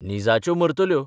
निजाच्यो मरतल्यो.